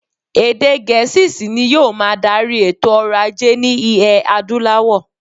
Èdè Gẹ̀̀ẹ́sì ṣì ni yóò máa darí èto ọrọ̀-ajé ní iẹ̀ Adúláwọ̀.